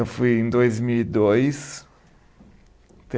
Eu fui em dois mil e dois.